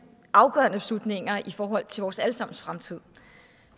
afgørende beslutninger i forhold til vores alle sammens fremtid